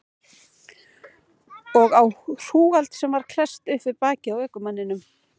Og á hrúgald sem var klesst upp við bakið á ökumanninum.